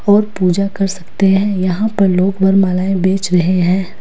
और पूजा कर सकते हैं। यहां पर लोग वरमालाएं बेच रहे हैं।